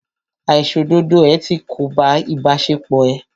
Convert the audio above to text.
Àìṣòdodo ẹ̀ ti kóbá ìbáṣepọ̀ ẹ́.